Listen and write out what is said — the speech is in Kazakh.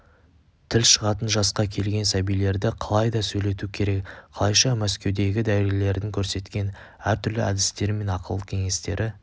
тіл шығатын жасқа келген сәбилерді қалайда сөйлету керек қалайша мәскеудегі дәрігерлердің көрсеткен әртүрлі әдістері мен ақыл-кеңестері